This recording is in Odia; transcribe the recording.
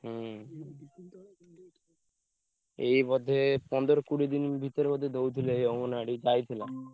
ହୁଁ। ଏଇ ବୋଧେ ପନ୍ଦର କୋଡିଏ ଦିନି ଭିତରେ ବୋଧେ ଦଉଥିଲେ ଏଇ ଅଙ୍ଗନବାଡି ପାଇଥିଲା।